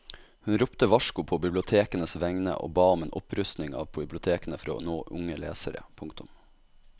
Hun ropte varsko på bibliotekenes vegne og ba om en opprustning av bibliotekene for å nå unge lesere. punktum